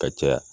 Ka caya